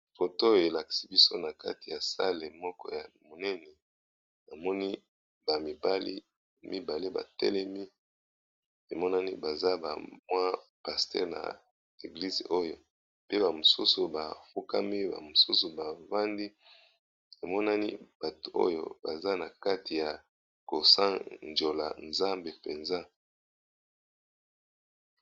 Photo elaksi biso na kati ya sale moko ya monene amoni bamibali mibale batelemi emonani baza bamwa paster na eglize oyo pe bamosusu bafukami bamosusu bavandi emonani bato oyo baza na kati ya kosanjola nzambe mpenza.